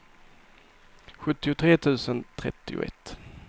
sjuttiotre tusen trettioett